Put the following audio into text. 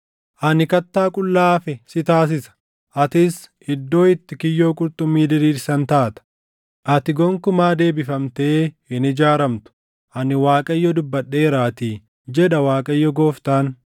Ani kattaa qullaa hafe si taasisa; atis iddoo itti kiyyoo qurxummii diriirsan taata. Ati gonkumaa deebifamtee hin ijaaramtu; ani Waaqayyo dubbadheeraatii, jedha Waaqayyo Gooftaan.